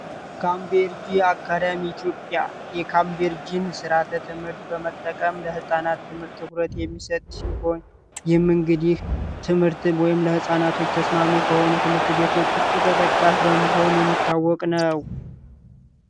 ካምቤርጅ አካደሚ ኢትዮጵያ ስርዓተ ትምህርት በመጠቀም ለፃናት ትምህርት የሚሰጥ የመንግስትን ወይም ለፃናቶች ተስማሚ ከሆኑ ትምህርት ቤቶች ተጠቃሚ በመሆን የሚታወቅ ነው